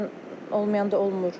Bəzən olmayanda olmur.